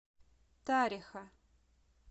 тариха